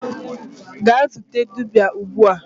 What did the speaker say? gaa zute dibia ugbua!